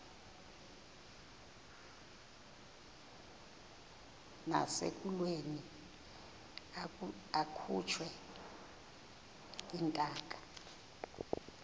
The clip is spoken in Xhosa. nasekulweni akhutshwe intaka